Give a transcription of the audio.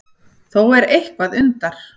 Þó er eitthvað undar